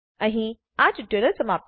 અહીં આ ટ્યુટોરીયલ સમાપ્ત થાય છે